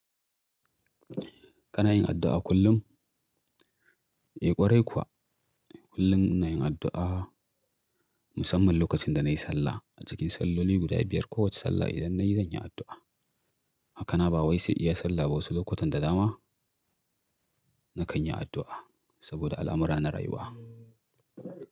Kana yin addu'a kullum? Eh ƙwarai kuwa, kullum ina yin addu'a musamman lokacin da na yi sallah. A cikin salloli guda biyar, kowace sallah idan na yi, zan yi addu'a. Hakanan ba wai sai iya sallah ba wasu lokutan da dama na kan yi addu'a saboda al'amura na rayuwa.